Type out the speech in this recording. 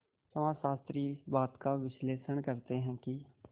समाजशास्त्री इस बात का विश्लेषण करते हैं कि